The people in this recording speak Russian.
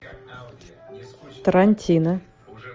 тарантино